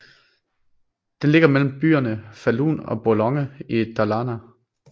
Den ligger mellem byerne Falun og Borlänge i Dalarna